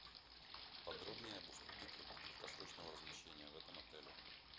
подробнее об услуге краткосрочного размещения в этом отеле